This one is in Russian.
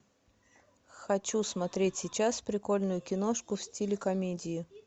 хочу смотреть сейчас прикольную киношку в стиле комедии